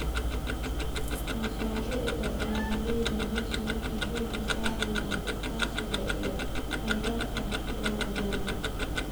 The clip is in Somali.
Mashaariicda beeralayda beesha waxay xooga saarayaan iskaashiga iyo kheyraadka la wadaago.